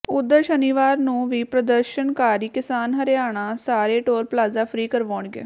ਉਧਰ ਸ਼ਨੀਵਾਰ ਨੂੰ ਵੀ ਪ੍ਰਦਰਸ਼ਨਕਾਰੀ ਕਿਸਾਨ ਹਰਿਆਣਾ ਸਾਰੇ ਟੋਲ ਪਲਾਜ਼ਾ ਫ੍ਰੀ ਕਰਵਾਉਣਗੇ